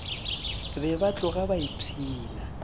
be ba tloga ba ipshina